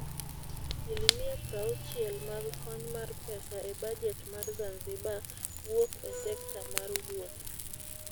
asilimia prauchiel mag kony mar pesa e bajet mar Zanzibar wuok e sekta mar wuoth.